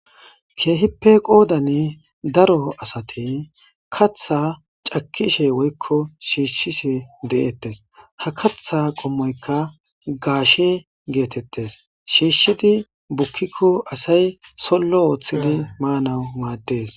Keehippe qoodani daro asati katha cakishe woykko shiishshishe de7eettes ha katha qommoykka gaashe geetettes shiishishidi bukikko asay sollo oothidi maanawu maaddees